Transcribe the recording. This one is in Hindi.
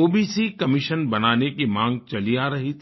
ओबीसी कमिशन बनाने की माँग चली आ रही थी